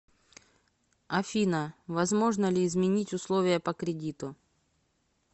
афина возможно ли изменить условия по кредиту